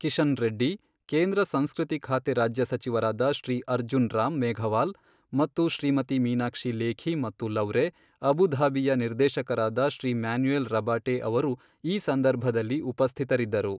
ಕಿಶನ್ ರೆಡ್ಡಿ, ಕೇಂದ್ರ ಸಂಸ್ಕೃತಿ ಖಾತೆ ರಾಜ್ಯ ಸಚಿವರಾದ ಶ್ರೀ ಅರ್ಜುನ್ ರಾಮ್ ಮೇಘವಾಲ್ ಮತ್ತು ಶ್ರೀಮತಿ ಮೀನಾಕ್ಷಿ ಲೇಖಿ ಮತ್ತು ಲೌವ್ರೆ ಅಬುಧಾಬಿಯ ನಿರ್ದೇಶಕರಾದ ಶ್ರೀ ಮ್ಯಾನುಯೆಲ್ ರಬಾಟೆ ಅವರು ಈ ಸಂದರ್ಭದಲ್ಲಿ ಉಪಸ್ಥಿತರಿದ್ದರು.